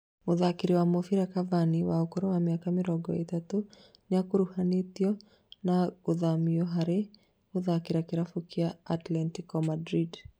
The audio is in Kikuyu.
Mũtharĩkĩri wa mũbĩra Cavani wa ũkũrũ wa mĩaka mĩrongo ĩtatũ nĩakuruhanĩtio na gũthamio harĩ gũthakĩra kĩrabu kĩa Atletico Madrid